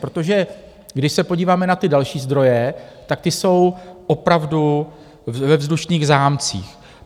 Protože když se podíváme na ty další zdroje, tak ty jsou opravdu ve vzdušných zámcích.